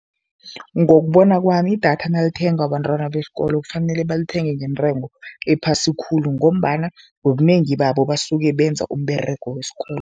Ngokubona kwami, idatha nalithengwa abantwana besikolo kufanele balithenge ngentengo ephasi khulu ngombana ngobunengi babo basuke benza umberego wesikolo.